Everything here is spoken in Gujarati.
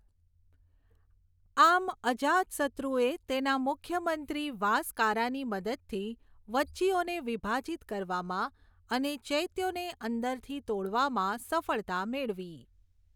આમ, અજાત શત્રુએ તેના મુખ્યમંત્રી વાસકારાની મદદથી વજ્જીઓને વિભાજિત કરવામાં અને ચૈત્યોને અંદરથી તોડવામાં સફળતા મેળવી.